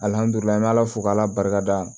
Alihamdullila ala fo k'ala barikada